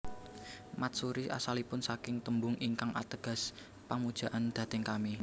Matsuri asalipun saking tembung ingkang ateges pamujaan dhateng Kami